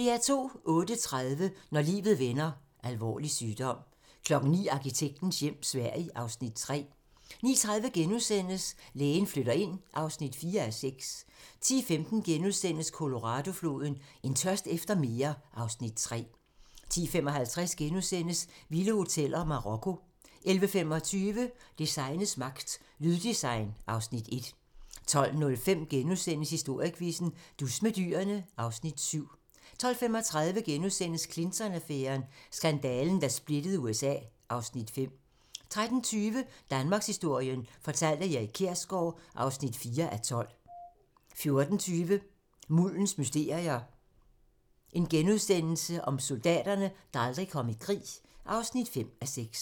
08:30: Når livet vender: Alvorlig sygdom 09:00: Arkitektens hjem - Sverige (Afs. 3) 09:30: Lægen flytter ind (4:6)* 10:15: Colorado-floden: En tørst efter mere (Afs. 3)* 10:55: Vilde hoteller: Marokko * 11:25: Designets magt - Lyddesign (Afs. 1) 12:05: Historiequizzen: Dus med dyrene (Afs. 7)* 12:35: Clinton-affæren: Skandalen, der splittede USA (Afs. 5)* 13:20: Danmarkshistorien fortalt af Erik Kjersgaard (4:12) 14:20: Muldens mysterier - Soldaterne, der aldrig kom i krig (5:6)*